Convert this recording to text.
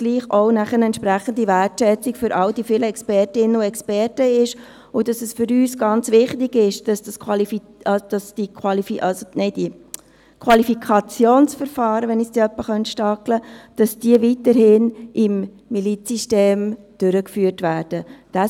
Dies, damit es trotzdem eine entsprechende Wertschätzung für all die vielen Expertinnen und Experten ist und weil es für uns ganz wichtig ist, dass das Qualifikationsverfahren weiterhin im Milizsystem durchgeführt werden kann.